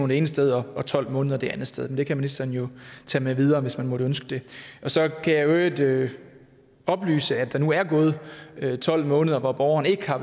det ene sted og tolv måneder det andet sted men det kan ministeren jo tage med videre hvis man måtte ønske det så kan jeg i øvrigt oplyse at der nu er gået tolv måneder hvor borgeren ikke har